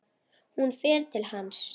Hún fer til hans.